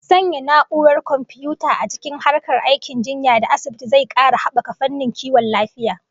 Sanya na'urar komfiyuta a cikin harkar aikin jinya da asibiti zai kara habaka fannin kiwon lafiya